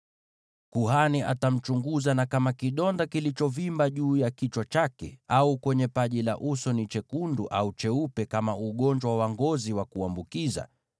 Kuhani atamchunguza, na kama kidonda kilichovimba juu ya kichwa chake au kwenye paji la uso ni chekundu au cheupe kama ugonjwa wa ngozi wa kuambukiza,